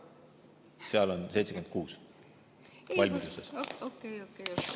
Seal on 76 valmiduses.